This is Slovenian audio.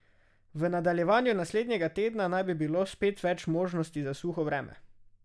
V nadaljevanju naslednjega tedna naj bi bilo spet več možnosti za suho vreme.